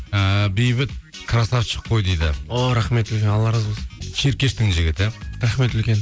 ііі бейбіт красавчик қой дейді о рахмет үлкен алла разы болсын ширкештің жігіті рахмет үлкен